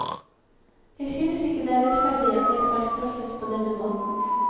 Jeg synes ikke det er rettferdig at jeg skal straffes på denne måten.